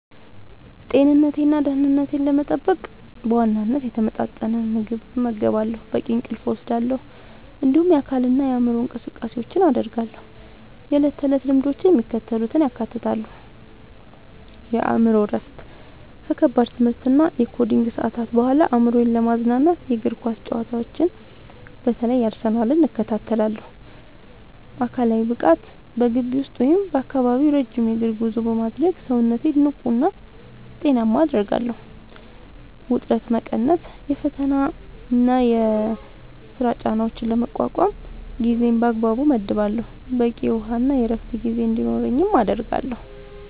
ጤንነቴንና ደህንነቴን ለመጠበቅ በዋናነት የተመጣጠነ ምግብ እመገባለሁ፣ በቂ እንቅልፍ እወስዳለሁ፣ እንዲሁም የአካልና የአእምሮ እንቅስቃሴዎችን አደርጋለሁ። የዕለት ተዕለት ልምዶቼ የሚከተሉትን ያካትታሉ፦ የአእምሮ እረፍት፦ ከከባድ የትምህርትና የኮዲንግ ሰዓታት በኋላ አእምሮዬን ለማዝናናት የእግር ኳስ ጨዋታዎችን (በተለይ የአርሰናልን) እከታተላለሁ። አካላዊ ብቃት፦ በግቢ ውስጥ ወይም በአካባቢው ረጅም የእግር ጉዞ በማድረግ ሰውነቴን ንቁና ጤናማ አደርጋለሁ። ውጥረት መቀነስ፦ የፈተናና የሥራ ጫናዎችን ለመቋቋም ጊዜን በአግባቡ እመድባለሁ፣ በቂ የውሃና የዕረፍት ጊዜ እንዲኖረኝም አደርጋለሁ።